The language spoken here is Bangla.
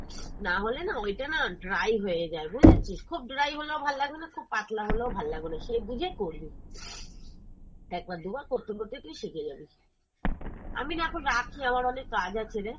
না হলে না ওইটা না dry হয়ে যায় বুঝেছিস, খুব dry হলেও ভাল লাগবে না, খুব পাতলা হলেও ভাল লাগবে না, সেই বুঝে করবি। একবার দু'বার করতে করতে তুই শিখে যাবি। আমি না এখন রাখি আমার অনেক কাজ আছে রে।